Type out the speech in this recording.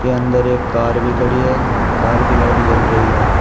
अंदर एक कार भी खड़ी है कार की लाइट जल रही है।